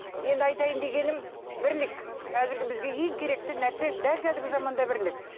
енді айтайын дегенім бірлік қазіргі бізге ең керекті нәрсе дәл қазіргі заманда бірлік